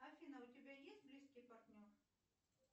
афина а у тебя есть близкий партнер